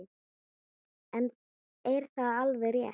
En er það alveg rétt?